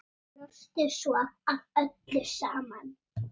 Brostu svo að öllu saman.